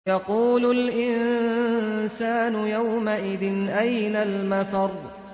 يَقُولُ الْإِنسَانُ يَوْمَئِذٍ أَيْنَ الْمَفَرُّ